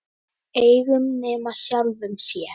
Engum nema sjálfum sér.